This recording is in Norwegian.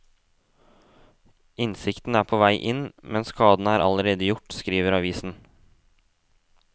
Innsikten er på vei inn, men skaden er allerede gjort, skriver avisen.